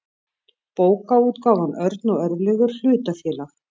bókaútgáfan örn og örlygur hlutafélag